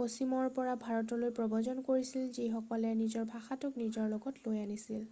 পশ্চিমৰ পৰা ভাৰতলৈ প্ৰব্ৰজন কৰিছিল যিসকলে নিজৰ ভাষাটোকো নিজৰ লগত লৈ আনিছিল